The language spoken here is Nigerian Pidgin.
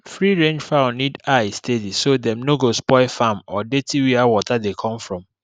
freerange fowl need eye steady so dem no go spoil farm or dirty where water dey come from